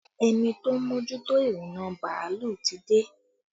Ẹni tó ń mójútó ìrìnnà bàálù ti dé